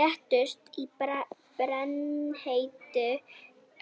Létust í brennheitu